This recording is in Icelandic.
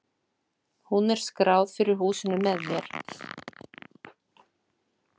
Hún er skráð fyrir húsinu með mér.